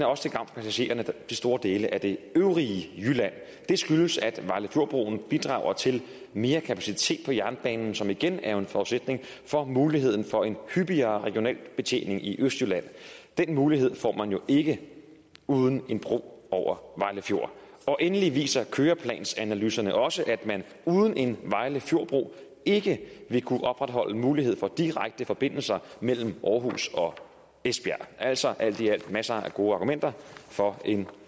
også til gavn for passagererne i store dele af det øvrige jylland det skyldes at vejle fjord broen bidrager til mere kapacitet på jernbanen som igen er en forudsætning for muligheden for en hyppigere regional betjening i østjylland den mulighed får man jo ikke uden en bro over vejle fjord og endelig viser køreplansanalyserne også at man uden en vejle fjord bro ikke vil kunne opretholde muligheden for direkte forbindelser mellem århus og esbjerg er altså alt i alt masser af gode argumenter for en